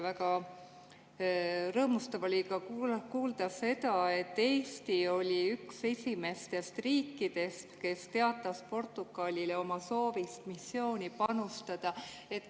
Väga rõõmustav oli kuulda seda, et Eesti oli üks esimestest riikidest, kes teatas Portugalile oma soovist missiooni panustada.